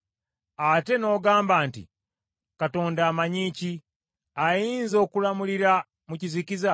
Ate n’ogamba nti, ‘Katonda amanyi ki? Ayinza okulamulira mu kizikiza?